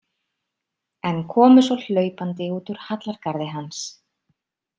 En komu svo hlaupandi út úr hallargarði hans.